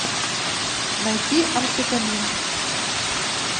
найти амфитамин